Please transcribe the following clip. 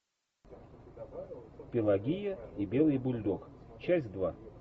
пелагея и белый бульдог часть два